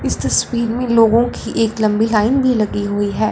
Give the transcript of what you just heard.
इस तस्वीर में लोगों की एक लंबी लाइन भी लगी हुई है।